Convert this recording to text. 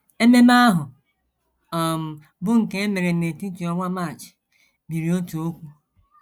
Ememe ahụ, um bụ́ nke e mere n’etiti ọnwa March, biri otu okwu.